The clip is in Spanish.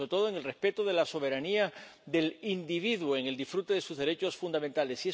pero, sobre todo, en el respeto de la soberanía del individuo en el disfrute de sus derechos fundamentales.